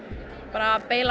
bara